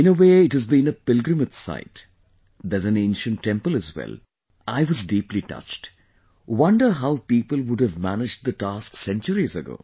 In a way, it has been a pilgrimage site...there's an ancient temple as well...I was deeply touched...wonder how people would have managed the task centuries ago